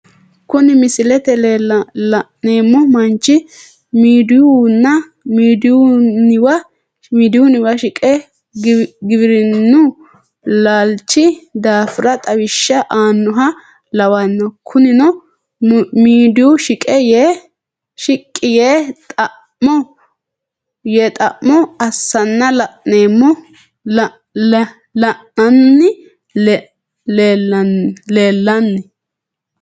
Kuni misilete la'neemo manchi midiyuuniwa shiqe giwirinu laalichi daafira xawisha aanoha lawanno konino midiyuu shiqi yee xamo assana la'nanni leelinanni